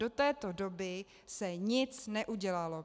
Do této doby se nic neudělalo.